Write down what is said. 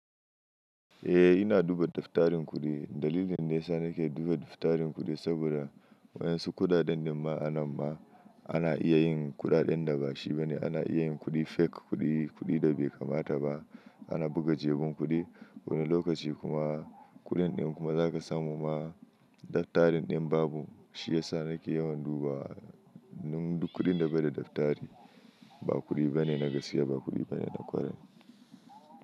Eh ina duba daftarin kuɗi. Dalilin ne sa nake duba daftarin kuɗi saboda waɗansu kuɗaɗen daba anan ba ana iya yin kuɗaɗen da bashi bane. Ana iya yin kuɗi fake kuɗi, kuɗi da bai kamata ba. Ana buga jejin kuɗi wani lokaci kuma kuɗin ɗin kuma zaka samu ma. Daftarin ɗin babu shi yasa nake yawan duba. Nun duk kuɗin da bai daftari ba kuɗi bane na gaskiya, ba kuɗi bane na kwarai.